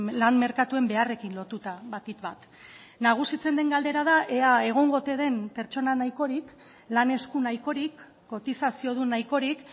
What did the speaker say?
lan merkatuen beharrekin lotuta batik bat nagusitzen den galdera da ea egongo ote den pertsona nahikorik lan esku nahikorik kotizaziodun nahikorik